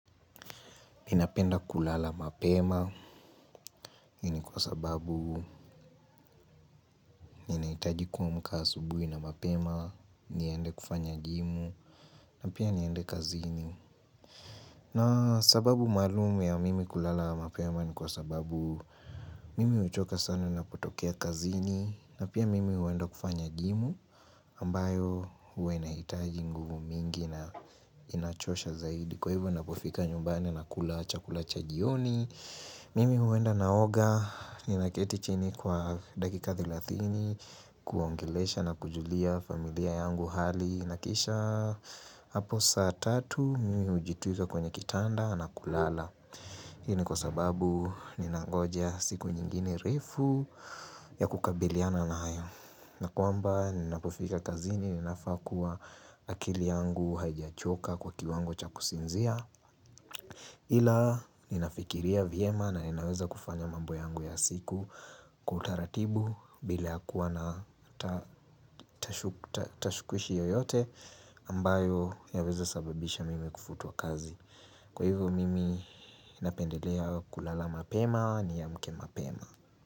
Ninapenda kulala mapema hii ni kwa sababu ninahitaji kuamka asubuhi na mapema niende kufanya jimu na pia niende kazini na sababu maalumu ya mimi kulala mapema ni kwa sababu mimi huchoka sana ninapotokea kazini na pia mimi uenda kufanya jimu ambayo huwa inahitaji nguvu mingi na inachosha zaidi Kwa hivyo ninapofika nyumbani nakula chakula cha jioni Mimi huenda naoga, ninaketi chini kwa dakika thelathini, kuongelesha na kujulia familia yangu hali. Na kisha hapo saa tatu, mimi hujitwika kwenye kitanda na kulala. Hii ni kwa sababu ninangoja siku nyingine refu ya kukabiliana nayo. Na kwamba ninapofika kazini, ninafaa kuwa akili yangu haijachoka kwa kiwango cha kusinzia. Ila ninafikiria vyema na ninaweza kufanya mambo yangu ya siku kwa utaratibu bila ya kuwa na tashwishi yoyote ambayo yaweza sababisha mimi kufutwa kazi. Kwa hivyo mimi napendelea kulala mapema niamke mapema.